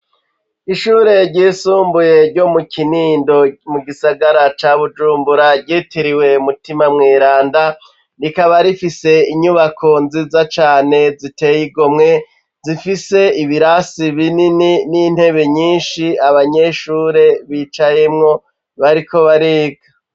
Ishure ryisumbuye ryo mu kinindo mu gisagara ca bujumbura ryitiriwe mutima mweranda, rikaba rifise inyubako nziza cane ziteye igomwe zifise ibirasi binini n'intebe nyinshi abanyeshure bicayemwo bariko bariga.